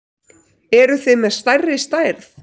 Eruð þið með stærri stærð?